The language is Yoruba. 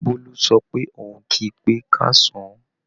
Bólú sọ pé òun kí pé káàsán